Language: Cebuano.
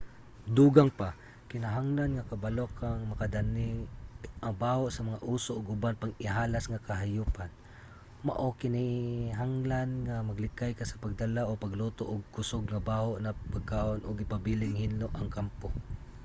dugang pa kinahanglan nga kabalo ka nga makadani ang baho sa mga oso ug uban pang ihalas nga kahayupan mao kinahanglan nga maglikay ka sa pagdala o pagluto og kusog nga baho na pagkaon ug ipabiling hinlo ang kampo